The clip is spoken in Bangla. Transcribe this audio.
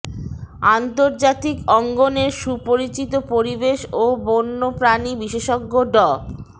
আন্তর্জাতিক অঙ্গনের সুপরিচিত পরিবেশ ও বণ্য প্রাণী বিশেষজ্ঞ ড